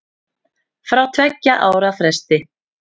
Fá tveggja ára frest